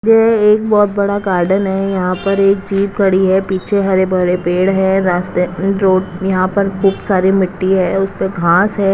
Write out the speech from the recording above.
ये एक बहोत बड़ा गार्डन है यहां पर एक जीप खड़ी है पीछे हरे भरे पेड़ है रास्ते रोड यहां पर खूब सारी मिट्टी है उस पे घास है।